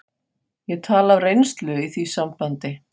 Ég tala af reynslu í því sambandi.